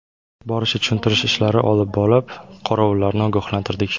Boricha tushuntirish ishlari olib borib, qorovullarni ogohlantirdik.